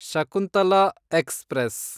Shakuntala express